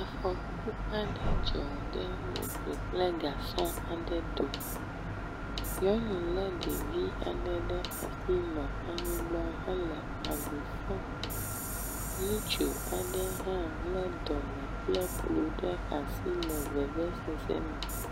Afɔku aɖe dzɔ ɖe moto kple gasɔ aɖe dome. Nyɔnu le ɖevi aɖe ɖe asi nɔ anyigba hele avi fam. Ŋutsu aɖe hã le dɔme kple klo ɖe asi le vevesese me.